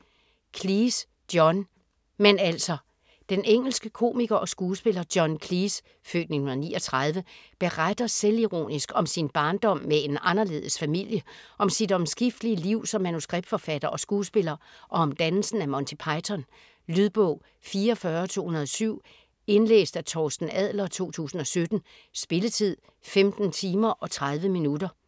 Cleese, John: Men altså - Den engelske komiker og skuespiller John Cleese (f. 1939) beretter selvironisk om sin barndom med en anderledes familie, om sit omskiftelige liv som manuskriptforfatter og skuespiller, og om dannelsen af Monty Python. Lydbog 44207 Indlæst af Torsten Adler, 2017. Spilletid: 15 timer, 30 minutter.